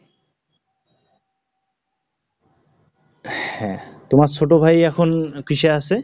হ্যাঁ, তোমার ছোট ভাই এখন কিসে আছে?